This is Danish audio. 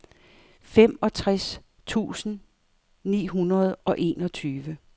femogtres tusind ni hundrede og enogtyve